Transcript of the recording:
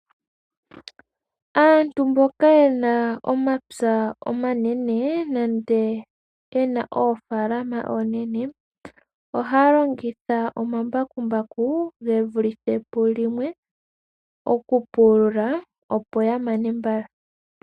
Aantu mboka yena omapya omanene nande ena oofaalama oonene ohaya longitha omambakumbaku ge vulithe pu limwe oku pulula opo ya mane mbala.